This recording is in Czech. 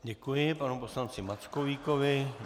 Děkuji panu poslanci Mackovíkovi.